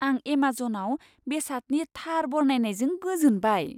आं एमाजनआव बेसादनि थार बरनायनायजों गोजोनबाय।